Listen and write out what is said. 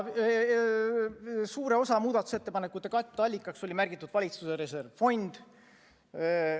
Suure osa muudatusettepanekute katteallikaks oli märgitud valitsuse reservfond.